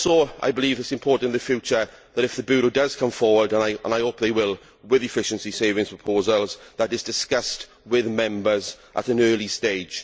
I believe it is important in the future that if the Bureau does come forward and I hope it will with efficiency savings proposals, that it is discussed with Members at an early stage.